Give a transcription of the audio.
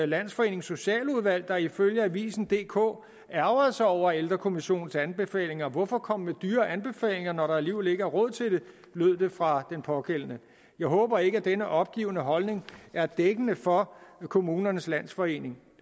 landsforenings socialudvalg der ifølge avisendk ærgrede sig over ældrekommissionens anbefalinger hvorfor komme med dyre anbefalinger når der alligevel ikke er råd til det lød det fra den pågældende jeg håber ikke at denne opgivende holdning er dækkende for kommunernes landsforening